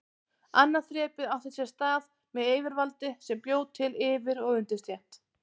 Annað þrepið átti sér stað með yfirvaldi sem bjó til yfir- og undirstétt.